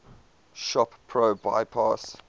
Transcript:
shop pro bypass